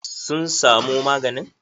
Sun samo maganin?